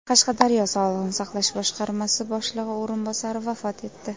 Qashqadaryo sog‘liqni saqlash boshqarmasi boshlig‘i o‘rinbosari vafot etdi.